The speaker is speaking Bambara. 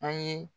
An ye